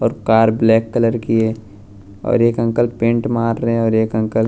और car black colour की है और एक अंकल पेंट मार रहे हैं और एक अंकल --